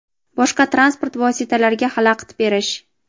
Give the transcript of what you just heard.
boshqa transport vositalariga xalaqit berish;.